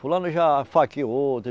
Fulano já esfaqueou outro.